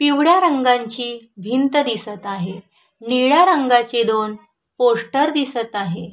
पिवळ्या रंगाची भिंत दिसत आहे निळ्या रंगाची दोन पोस्टर दिसत आहे.